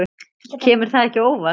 Kemur það ekki á óvart.